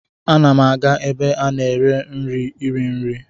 Ana m aga ebe a na-ere nri iri nri.